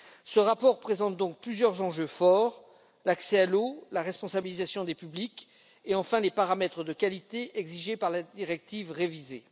Ce rapport présente donc plusieurs enjeux de taille l'accès à l'eau, la responsabilisation des publics et enfin les paramètres de qualité exigés par la directive révisée.